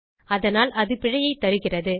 அதனால் அது பிழையைத் தருகிறது